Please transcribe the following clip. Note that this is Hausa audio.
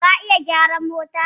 Ka iya gyaran mota?